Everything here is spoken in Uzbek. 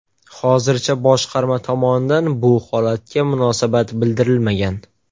Hozircha boshqarma tomonidan bu holatga munosabat bildirilmagan.